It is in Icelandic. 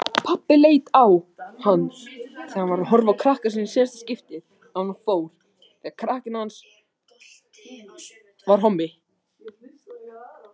Pabbi leit á hann.